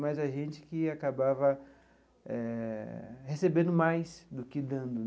Mas a gente que acabava eh recebendo mais do que dando.